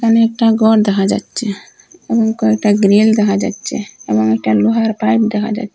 ওখানে একটা গর দেখা যাচ্চে এবং কয়েকটা গ্রীল দেখা যাচ্চে এবং একটা লোহার পাইপ দেখা যাচ--